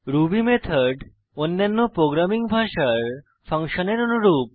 Ruby method অন্যান্য programming ভাষার ফাংশনের অনুরূপ